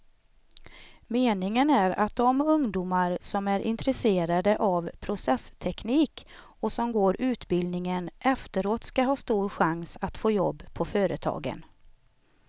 Meningen är att de ungdomar som är intresserade av processteknik och som går utbildningen efteråt ska ha stor chans att få jobb på företagen.